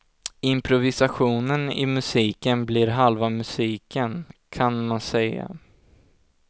Improvisationen i musiken blir halva musiken, kan man säga.